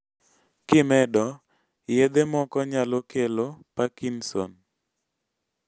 kimedo, yedhe moko nyslo kelo parkinson